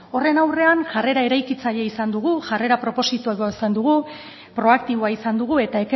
horren aurrean jarrera eraikitzailea izan dugu jarrera dugu proaktiboa izan dugu eta